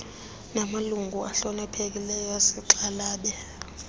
malungu ahloniphekileyo sixhalabe